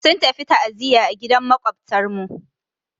Sun tafi ta'ziyya a gidan Maƙwabtarmu.